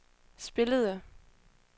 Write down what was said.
spillede